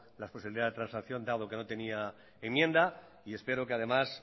la posibilidad de transacción dado que no tenía enmienda y espero que además